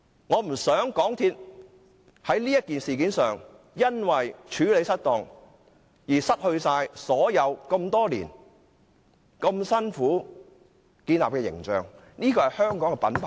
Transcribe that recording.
我不希望港鐵公司在這事件上因為處理失當而損害多年來辛苦建立的形象，這是香港的品牌。